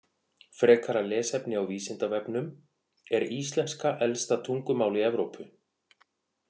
Frekara lesefni á Vísindavefnum Er íslenska elsta tungumál í Evrópu?